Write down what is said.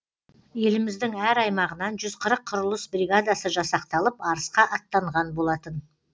еліміздің әр аймағынан жүз қырық құрылыс бригадасы жасақталып арысқа аттанған болатын